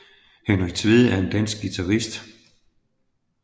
Henrik Tvede er en dansk guitarist